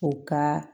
U ka